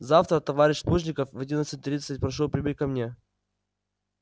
завтра товарищ плужников в одиннадцать тридцать прошу прибыть ко мне